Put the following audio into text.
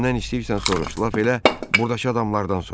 Kimdən istəyirsən soruş, lap elə burdakı adamlardan soruş.